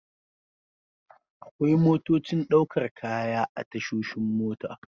Akwai motocin ɗaukar kaya a tashoshin mota.